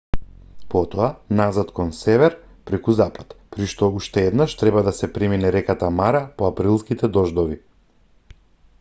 потоа назад кон север преку запад при што по уште еднаш треба да се премине реката мара по априлските дождови